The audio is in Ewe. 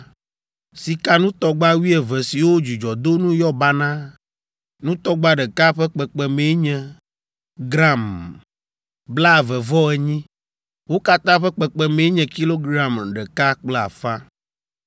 sikanutɔgba wuieve siwo dzudzɔdonu yɔ banaa, nutɔgba ɖeka ƒe kpekpemee nye gram blaeve-vɔ-enyi, wo katã ƒe kpekpemee nye kilogram ɖeka kple afã.